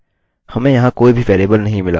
हमें यहाँ कोई भी वेरिएबल नहीं मिला